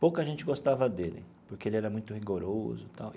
Pouca gente gostava dele, porque ele era muito rigoroso tal.